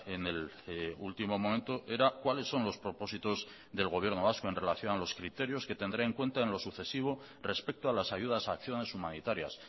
en el último momento era cuáles son los propósitos del gobierno vasco en relación a los criterios que tendrá en cuenta en lo sucesivo respecto a las ayudas a acciones humanitarias